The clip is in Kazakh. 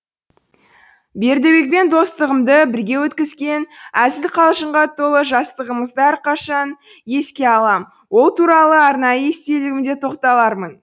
бердібекпен достығымды бірге өткізген әзіл қалжыңға толы жастығымызды әрқашан еске алам ол туралы арнайы естелігімде тоқталармын